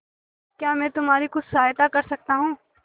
क्या मैं तुम्हारी कुछ सहायता कर सकता हूं